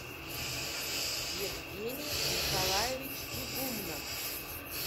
евгений николаевич игумнов